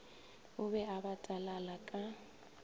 o be a batalala ka